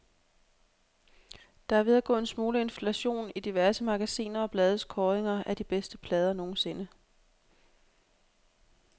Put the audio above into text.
Der er ved at gå en smule inflation i diverse magasiner og blades kåringer af de bedste plader nogensinde.